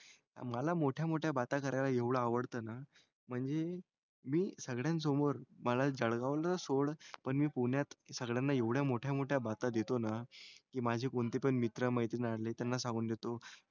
मला मोठ्या मोठ्या बाता करायला एवढं आवडतं ना म्हणजे मी सगळ्यांसमोर मला जळगावला सोड पण मी पुण्यात सगळ्यांना एवढ्या मोठ्या मोठ्या बाता देतो ना की माझी कोणती पण मित्र, मैत्रीण आले त्यांना सांगून देतो,